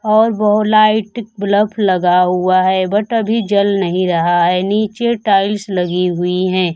और बहो light bulb लगा हुआ है बट अभी जल नहीं रहा है नीचे टाइल्स लगी हुई है।